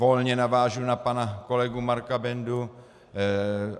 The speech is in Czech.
Volně navážu na pana kolegu Marka Bendu.